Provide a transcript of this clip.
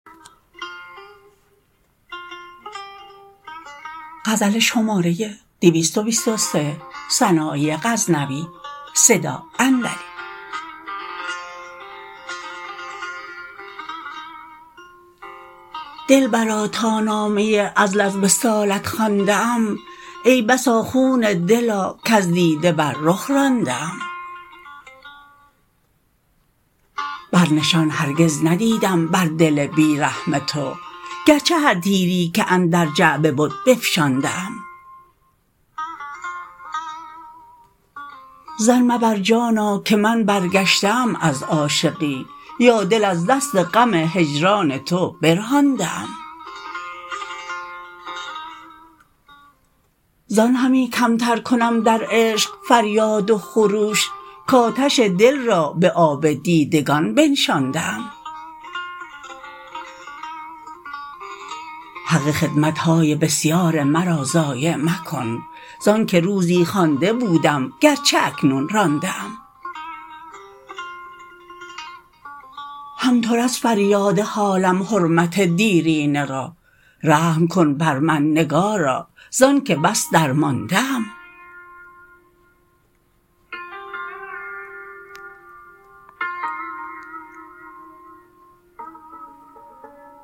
دلبرا تا نامه عزل از وصالت خوانده ام ای بسا خون دلا کز دیده بر رخ رانده ام بر نشان هرگز ندیدم بر دل بی رحم تو گر چه هر تیری که اندر جعبه بد بفشانده ام ظن مبر جانا که من برگشته ام از عاشقی یا دل از دست غم هجران تو برهانده ام زان همی کم تر کنم در عشق فریاد و خروش کآتش دل را به آب دیدگان بنشانده ام حق خدمت های بسیار مرا ضایع مکن زآن که روزی خوانده بودم گر چه اکنون رانده ام هم تو رس فریاد حالم حرمت دیرینه را رحم کن بر من نگارا ز آن که بس درمانده ام